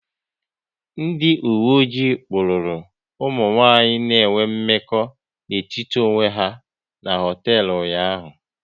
Ndị uwe ojii kpụrụru ụmụ nwanyị na enwe mmekọ n'etiti onwe ha n'hoteelu ụnyaahụ